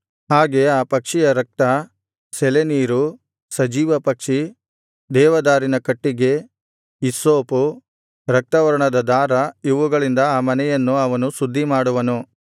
ಹಾಗೆ ಆ ಪಕ್ಷಿಯ ರಕ್ತ ಸೆಲೇ ನೀರು ಸಜೀವಪಕ್ಷಿ ದೇವದಾರಿನ ಕಟ್ಟಿಗೆ ಹಿಸ್ಸೋಪು ರಕ್ತವರ್ಣದ ದಾರ ಇವುಗಳಿಂದ ಆ ಮನೆಯನ್ನು ಅವನು ಶುದ್ಧಿಮಾಡುವನು